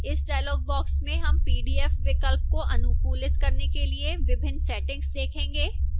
इस dialog box में हम pdf विकल्प को अनुकूलित करने के लिए विभिन्न settings देखेंगे